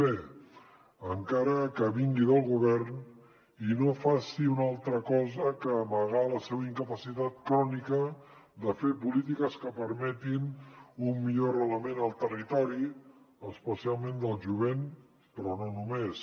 b encara que vingui del govern i no faci una altra cosa que amagar la seva incapacitat crònica de fer polítiques que per·metin un millor arrelament al territori especialment del jovent però no només